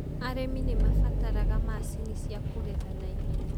Arĩmi nĩ mabataraga macinĩ cia kũgetha na ihenya.